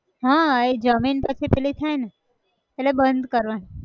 હા એ જમીન પછી પેલી થાય ન એટલે બંધ કરવાં